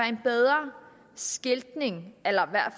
en bedre skiltning